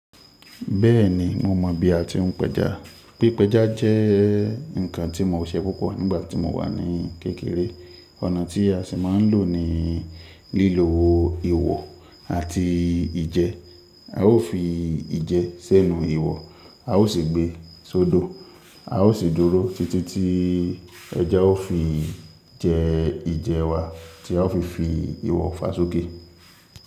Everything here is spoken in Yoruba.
Bẹ́ẹ̀ni, mo mọ̀ bí a ti ń pẹja. Pi pẹja jẹ́ nǹkan tí mo ṣe púpọ̀ nígbà tí mo wà ní kékeré. Ọ̀nà tí a si máa ń lò ní lílo ihò àti ìje. A ó fi ìje sẹ́nu ihò, a ó sì gbé sódo, a ó sì dúró títí tí ẹja ó fi jẹ ìje wa tí a ó fi fi ihò fà sókè.